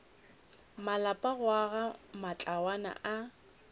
malapa go aga matlwana a